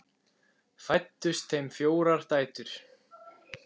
Fæddust þeim fjórar dætur.